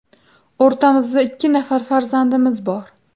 O‘rtamizda ikki nafar farzandimiz bor.